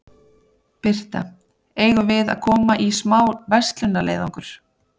Birta: Eigum við að koma í smá verslunarleiðangur?